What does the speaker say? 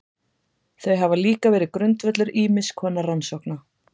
Þau hafa líka verið grundvöllur ýmiss konar rannsókna.